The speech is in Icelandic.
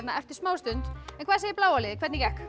eftir smá stund hvað segir bláa liðið hvernig gekk